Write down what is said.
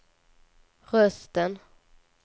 rösten